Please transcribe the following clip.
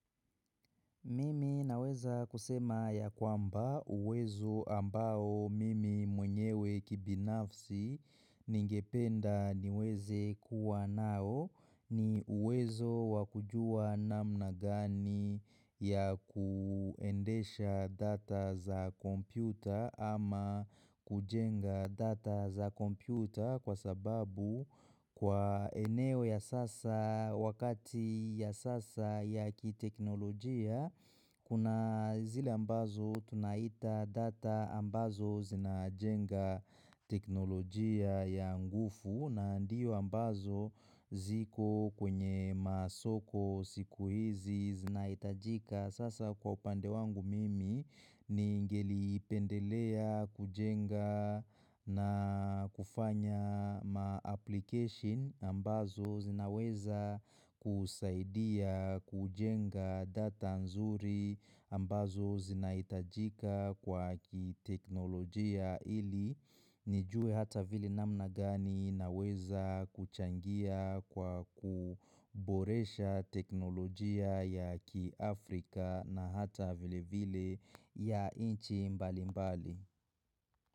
Mimi naweza kusema yakwamba uwezo ambao mimi mwenyewe kibinafsi ningependa niweze kuwa nao ni uwezo wakujua namna gani ya kuendesha data za kompyuta ama kujenga data za kompyuta kwa sababu kwa eneo ya sasa wakati ya sasa ya kiteknolojia kuna zile ambazo tunaita data ambazo zina jenga teknolojia ya nguvu na ndiyo ambazo ziko kwenye masoko siku hizi zina itajika Sasa kwa upande wangu mimi ningelipendelea, kujenga na kufanya ma-application ambazo zinaweza kusaidia, kujenga data nzuri ambazo zinaitajika kwa kiteknolojia ili nijue hata vile namna gani naweza kuchangia kwa kuboresha teknolojia ya kiafrika na hata vile vile ya nchi mbali mbali.